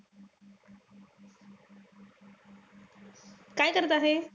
काय करत आहे?